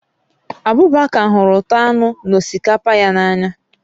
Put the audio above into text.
Abubakar hụrụ ụtọ anụ na osikapa ya n'anya